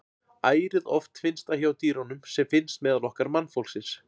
Ærið oft finnst það hjá dýrum sem finnst meðal okkar mannfólksins.